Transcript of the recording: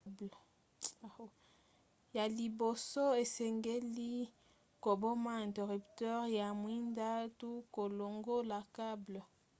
ya liboso osengeli koboma interrupteur ya mwinda to kolongola cable